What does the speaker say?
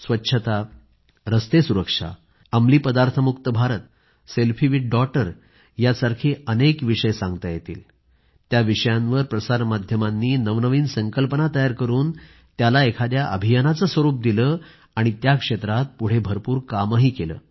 स्वच्छता रस्ते सुरक्षा अंमली पदार्थमुक्त भारत सेल्फी विथ डॉटर यासारखे अनेक विषय आहेत त्या विषयांवर प्रसार माध्यमांनी नवनवीन संकल्पना तयार करून त्याला एखाद्या अभियानाचे स्वरूप दिले आणि त्या क्षेत्रात पुढे भरपूर काम केले